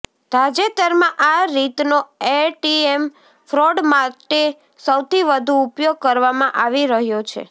તાજેતરમાં આ રીતનો એટીએમ ફ્રોડ માટે સૌથી વધુ ઉપયોગ કરવામાં આવી રહ્યો છે